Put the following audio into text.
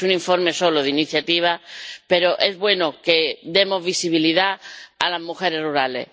Es un informe solo de iniciativa, pero es bueno que demos visibilidad a las mujeres rurales.